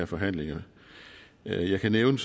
forhandlinger jeg kan nævne